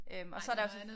Øhm og så der også